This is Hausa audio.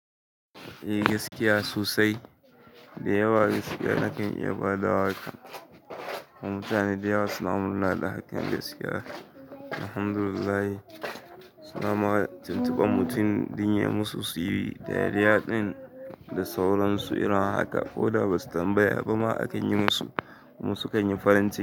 Eh gaskiya sosai, dai yawa gaskiya nakan iya ba da wa kan. Kuma mutane dayawa suna murna da hakan, gaskiya alhamdulillahi. Suna ma tuntuban mutum dan yayi musu su yi dariya ɗin da sauransu irin haka. Ko da ba su tambaya ba ma akan yi musu, kuma sukan yi farin ciki.